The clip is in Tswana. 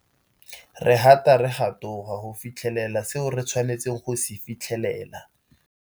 Re gata re ga toga go fitlhelela seo re tshwanetseng go se fitlhelela.